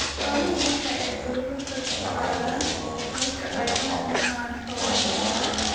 Xooluhu waxa ay cudurro ka qaadaan marka ay la kulmaan xoolaha buka.